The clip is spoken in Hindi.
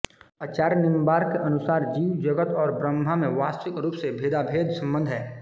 आचार्य निंबार्क के अनुसार जीव जगत और ब्रह्म में वास्तविक रूप से भेदाभेद सम्बन्ध है